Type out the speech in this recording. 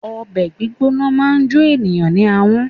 Obè gbígbóná máa n jo ènìyãn ní ahón